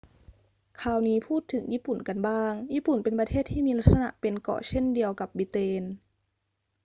คราวนี้พูดถึงญี่ปุ่นกันบ้าง ญี่ปุ่นเป็นประเทศที่มีลักษณะเป็นเกาะเช่นเดียวกับบริเตน